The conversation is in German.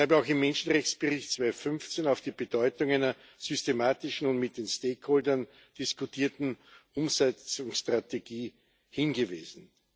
Ich habe auch im Menschenrechtsbericht 2015 auf die Bedeutung einer systematischen und mit den Stakeholdern diskutierten Umsetzungsstrategie hingewiesen.